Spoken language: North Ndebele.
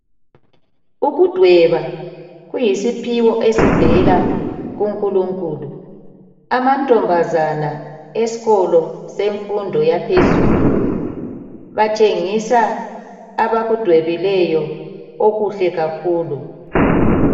Ukudweba kuyisiphiwo esivela kunkulunkulu. Amantombazana esikolo senfundo yaphezulu batshengisa abakudwebileyo okuhle kakhulu.